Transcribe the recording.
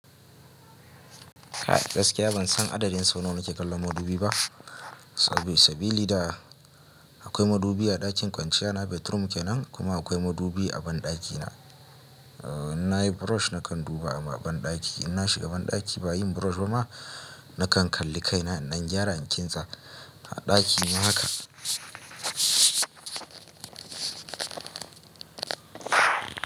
A gaskiya ban san adadin sau nawa na ke kallan madubi ba. Sabilida akwai madubi a ɗakin kwanciya na bedroom kenan kuma akwai madubi a banɗaki na. Na yi brush nakan duba a banɗaki. In na shiga banɗaki bayin brush ba ma, nakan kalli kai na inɗan gyara in ɗan kintss A ɗaki na haka.